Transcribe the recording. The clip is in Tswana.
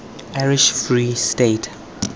irish free state